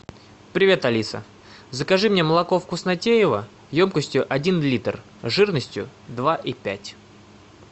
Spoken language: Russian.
привет алиса закажи мне молоко вкуснотеево емкостью один литр жирностью два и пять